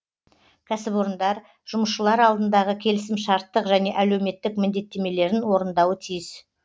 кәсіпорындар жұмысшылар алдындағы келісімшарттық және әлеуметтік міндеттемелерін орындауы тиіс